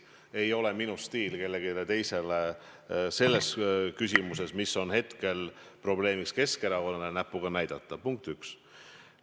Ei ole minu stiil kellelegi teisele selles küsimuses, mis on hetkel Keskerakonnal probleem, näpuga näidata, punkt üks.